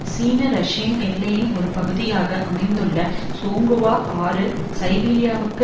சீன ரஷ்ய எல்லையின் ஒரு பகுதியாக அமைந்துள்ள சோங்குவா ஆறு சைபீரியாவிற்கு